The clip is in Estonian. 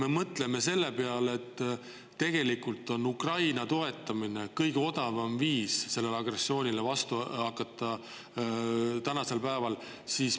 Aga mõtleme selle peale, et tegelikult on Ukraina toetamine praegu kõige odavam viis agressioonile vastu hakata.